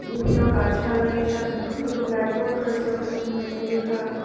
বিভিন্ন গাছপালা দিয়ে সাজানো দুটো ব্ল্যাকবোর্ড রয়েছে ওখানে মেনু লেখা।